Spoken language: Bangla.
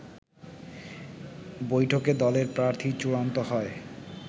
বৈঠকে দলের প্রার্থী চূড়ান্ত হয়